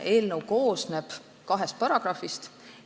Eelnõu koosneb kahest paragrahvist.